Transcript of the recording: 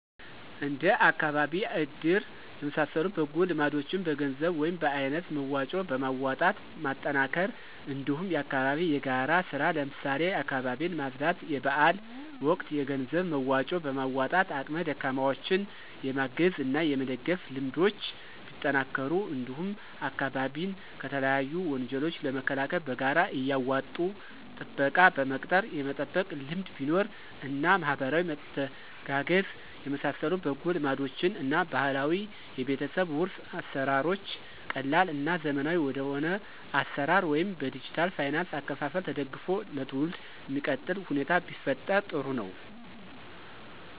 እንደ አካባቢ እድር የመሳሰሉ በጎ ልማዶችን በገንዘብ ወይም በአይነት መዋጮ በማዋጣት ማጠናከር እንዲሁም የአካባቢ የጋራ ስራ ለምሳሌ አካባቢን ማፅዳት; የበአል ወቅት የገንዘብ መዋጮ በማዋጣት አቅመ ደካማዎችን የማገዝ እና የመደገፍ ልምዶች ቢጠናከሩ እንዲሁም አካባቢን ከተለያዩ ወንጀሎች ለመከላከል በጋራ እያዋጡ ጥበቃ በመቅጠር የመጠበቅ ልምድ ቢኖር እና ማህበራዊ መተጋገዝ የመሳሰሉ በጎ ልማዶችን እና ባህላዊ የቤተሰብ ዉርስ አሰራሮች ቀላል እና ዘመናዊ ወደሆነ አሰራር ወይም በዲጅታል ፋይናንስ አከፋፈል ተደግፎ ለትውልዱ ሚቀጥልበት ሁኔታ ቢፈጠር ጥሩ ነው።